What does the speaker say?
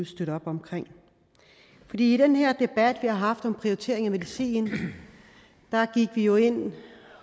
støtte op omkring i den her debat vi har haft om prioritering af medicin gik vi jo ind